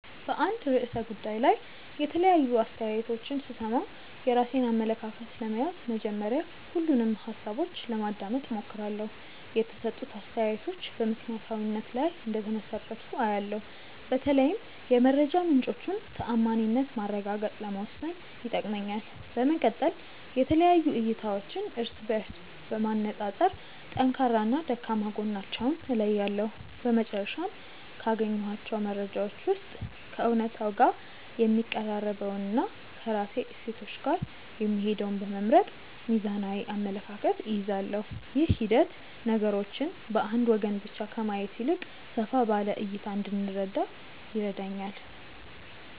በአንድ ርዕሰ ጉዳይ ላይ የተለያዩ አስተያየቶችን ስሰማ፣ የራሴን አመለካከት ለመያዝ መጀመሪያ ሁሉንም ሃሳቦች ለማዳመጥ እሞክራለሁ። የተሰጡት አስተያየቶች በምክንያታዊነት ላይ እንደተመሰረቱ አያለው፤ በተለይም የመረጃ ምንጮቹን ተዓማኒነት ማረጋገጥ ለመወሰን ይጠቅመኛል። በመቀጠል የተለያዩ እይታዎችን እርስ በእርስ በማነፃፀር ጠንካራና ደካማ ጎናቸውን እለያለሁ። በመጨረሻም፣ ካገኘኋቸው መረጃዎች ውስጥ ከእውነታው ጋር የሚቀራረበውንና ከራሴ እሴቶች ጋር የሚሄደውን በመምረጥ ሚዛናዊ አመለካከት እይዛለሁ። ይህ ሂደት ነገሮችን በአንድ ወገን ብቻ ከማየት ይልቅ ሰፋ ባለ እይታ እንድረዳ ይረዳኛል።